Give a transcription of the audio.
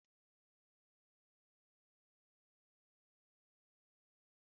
Ka anyị na-ejegharị n’ime ọhịa, anyị hụrụ osisi ochie